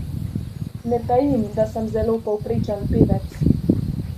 Ne tajim, da sem zelo povprečen pevec.